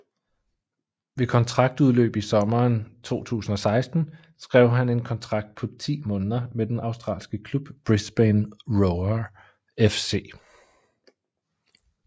Ved kontraktudløb i sommeren 2016 skrev han en kontrakt på 10 måneder med den australske klub Brisbane Roar FC